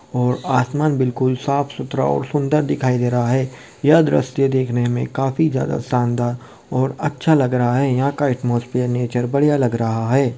और आसमान बहुत साफ सुथरा और सुंदर दिखाई दे रहा है यह दृश्य देखने में काफी ज्यादा शानदार और अच्छा लग रहा है और यहाँ का एटमॉस्फेयर नेचर बढ़िया लग रहा है।